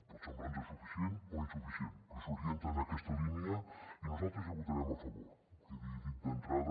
pot semblar nos suficient o insuficient però s’orienta en aquesta línia i nosaltres hi votarem a favor quedi dit d’entrada